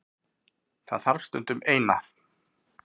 Það þarf stundum. Eina.